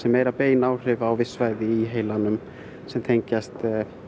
meira bein áhrif á viss svæði í heilanum sem tengjast